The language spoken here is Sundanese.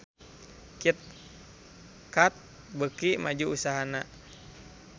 Kit Kat beuki maju usahana